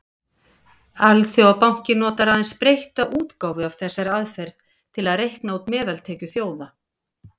Alþjóðabankinn notar aðeins breytta útgáfu af þessari aðferð til að reikna út meðaltekjur þjóða.